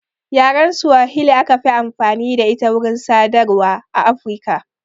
Yaren swahili aka fi amfani da ita wurin sadarwa a Afirika